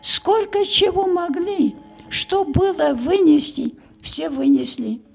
сколько чего могли что было вынести все вынесли